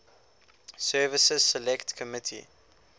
services select committee